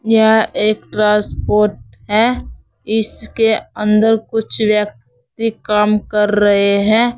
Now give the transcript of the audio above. यह एक ट्रांसपोर्ट है। इसके अंदर कुछ व्यक्ति काम कर रहे हैं।